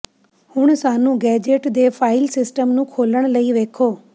ਹੁਣ ਸਾਨੂੰ ਗੈਜ਼ਟ ਦੇ ਫਾਇਲ ਸਿਸਟਮ ਨੂੰ ਖੋਲ੍ਹਣ ਲਈ ਵੇਖੋ